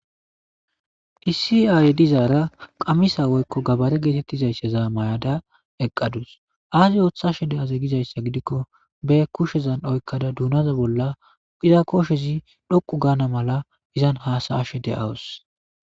iisiyay dizaara qamisa woykko gabare geetettizaysseza mayada eqqadus aazi oothashe de7aze gizayssa gidikko be kushezan oykkada duunaza bolla qiza koshezi dhoqu gaana mala izan haasayashe de7awus